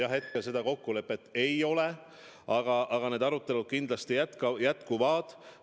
Jah, hetkel seda kokkulepet ei ole, aga need arutelud kindlasti jätkuvad.